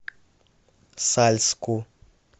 сальску